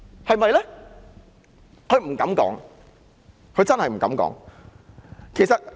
她不敢說，她真的不敢這樣說。